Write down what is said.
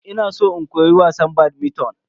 Ina san in koyi wasan "badminton"